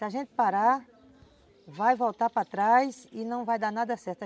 Se a gente parar, vai voltar para trás e não vai dar nada certo.